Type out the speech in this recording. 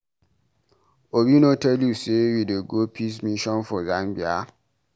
Obi no tell you say we dey go peace mission for Zambia?